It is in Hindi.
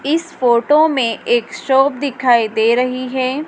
इस फोटो में एक शॉप दिखाई दे रही है।